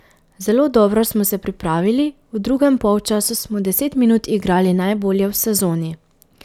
Zelo dobro smo se pripravili, v drugem polčasu smo deset minut igrali najbolje v sezoni.